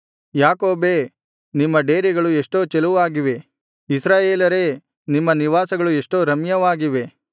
ಯಾಕೋಬೇ ನಿಮ್ಮ ಡೇರೆಗಳು ಎಷ್ಟೋ ಚೆಲುವಾಗಿವೆ ಇಸ್ರಾಯೇಲರೇ ನಿಮ್ಮ ನಿವಾಸಗಳು ಎಷ್ಟೋ ರಮ್ಯವಾಗಿವೆ